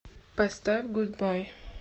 поставь гудбай